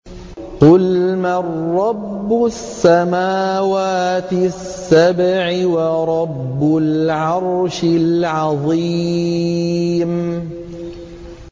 قُلْ مَن رَّبُّ السَّمَاوَاتِ السَّبْعِ وَرَبُّ الْعَرْشِ الْعَظِيمِ